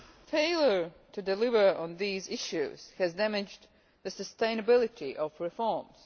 Failure to deliver on these issues has damaged the sustainability of reforms.